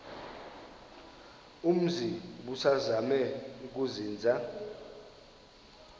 umzi ubusazema ukuzinza